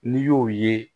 N'i y'o ye